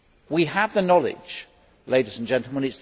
We have the knowledge, ladies and gentlemen